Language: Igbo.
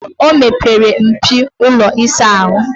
O mepere mpio ụlọ ịsa ahụ.